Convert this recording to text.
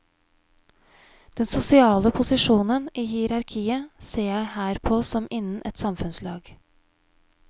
Den sosiale posisjonen i hierarkiet ser jeg her på som innen et samfunnslag.